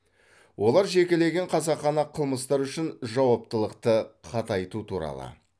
олар жекелеген қасақана қылмыстар үшін жауаптылықты қатайту туралы